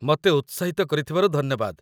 ମତେ ଉତ୍ସାହିତ କରିଥିବାରୁ ଧନ୍ୟବାଦ ।